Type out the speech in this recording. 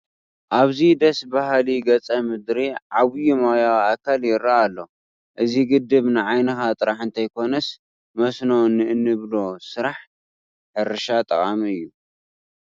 ኣብዚ ደስ በሃሊ ገፀ ምድሪ ዓብዪ ማያዊ ኣካል ይርአ ኣሎ፡፡ እዚ ግድብ ንዓይንኻ ጥራሕ እንተይኮነስ መስኖ ንእንብሎ ስራሕቲ ሕርሻ ጠቓሚ እዩ፡፡